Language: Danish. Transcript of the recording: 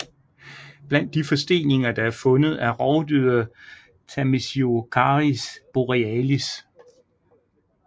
Blandt de forsteninger der er fundet er rovdyret Tamisiocaris borealis